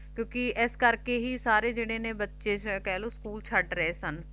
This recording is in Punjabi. ਕਿਉਂਕਿ ਇਸ ਕਰਕੇ ਹੀ ਸਾਰੇ ਜਿਹੜੇ ਨੇ ਬੱਚੇ ਕਹਿ ਲੋ ਸਕੂਲ ਛੱਡ ਰਹੇ ਸਨ